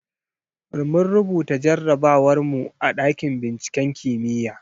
Mun rubuta jarrabawar mu a ɗakin binciken kimiyya.